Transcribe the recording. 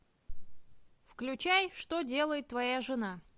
включай что делает твоя жена